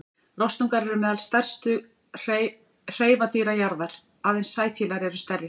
Rostungar eru meðal stærstu hreifadýra jarðar, aðeins sæfílar eru stærri.